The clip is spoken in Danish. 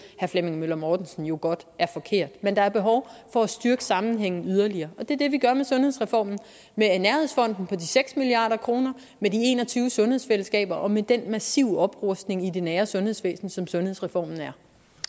herre flemming møller mortensen jo godt er forkert men der er behov for at styrke sammenhængen yderligere og det er det vi gør med sundhedsreformen med nærhedsfonden på de seks milliard kr med de en og tyve sundhedsfællesskaber og med den massive oprustning i det nære sundhedsvæsen som sundhedsreformen er